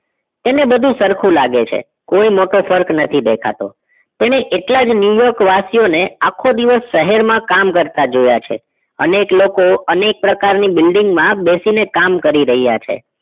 તેને બધું સરખું લાગે છે કોઈ મોટો ફર્ક નથી દેખાતો તેને એટલા જ new york વાસીઓને આખો દિવસ શહેરમાં કામ કરતા જોયા છે અનેક લોકો અનેક પ્રકારની building માં બેસીને કામ કરી રહ્યા છે